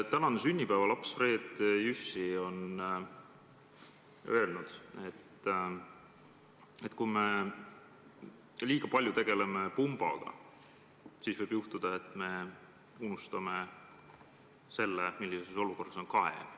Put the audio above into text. Tänane sünnipäevalaps Fred Jüssi on öelnud, et kui me liiga palju tegeleme pumbaga, siis võib juhtuda, et me unustame selle, millises olukorras on kaev.